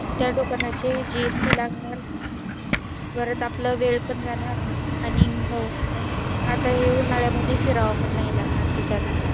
त्या दुकानाची GST लागणार परत आपला वेळ हम्म पण जाणार आणि हे उन्हाळ्या मध्ये फिरावं पण नाही लागणार त्याच्या ने